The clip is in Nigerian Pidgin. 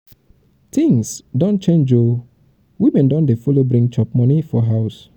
tins don change o women don dey follow bring chop moni for house.